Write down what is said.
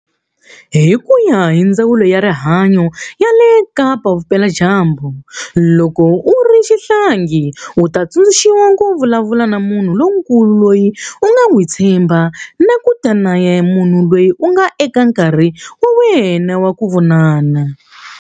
Hi ku ya hi Ndzawulo ya Rihanyo ya le Kapa-Vupeladyambu, loko u ri xihlangi, u ta tsundzuxiwa ku vulavula na munhu lonkulu loyi u nga n'wi tshembaka na ku ta na munhu un'wana eka nkarhi wa wena wa ku vonana.